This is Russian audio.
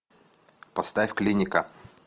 поставь клиника